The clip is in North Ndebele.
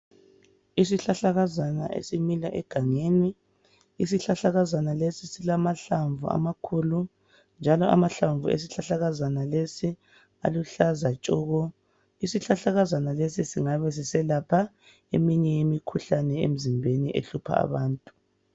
Isihlahlakazana esimila egangeni. Isihlahlakazana lesi silamahlamvu amakhulu njalo amahlamvu esihlahlakazana lesi aluhlaza tshoko. Isihlahlakazana lesi singabe siselapha eminye yemikhuhlane emzimbeni ehlupha abantu.